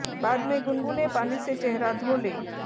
बाद में गुनगुने पानी से चेहरा धो लें